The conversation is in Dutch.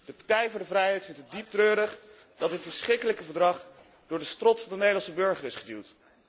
De Partij voor de Vrijheid vindt het dieptreurig dat het verschrikkelijke verdrag door de strot van de Nederlandse burger is geduwd.